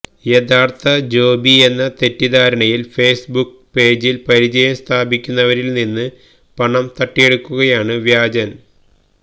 യഥാർഥ ജോബിയെന്ന തെറ്റിദ്ധാരണയിൽ ഫേസ്ബുക്ക് പേജിൽ പരിചയം സ്ഥാപിക്കുന്നവരിൽ നിന്ന് പണം തട്ടിയെടുക്കുകയാണ് വ്യാജൻ